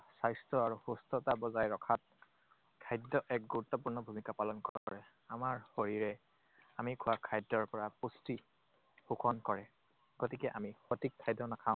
স্বাস্থ্য আৰু সুস্থতা বজাই ৰখাত খাদ্যই এক গুৰুত্বপূৰ্ণ ভূমিকা পালন কৰে। আমাৰ শৰীৰে আমি খোৱা খাদ্যৰ পৰা পুষ্টি শোষণ কৰে। গতিকে আমি সঠিক খাদ্য নাখায়